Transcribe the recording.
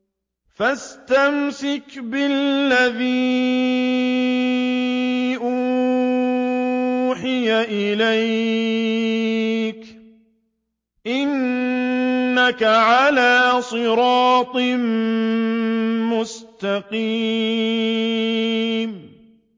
فَاسْتَمْسِكْ بِالَّذِي أُوحِيَ إِلَيْكَ ۖ إِنَّكَ عَلَىٰ صِرَاطٍ مُّسْتَقِيمٍ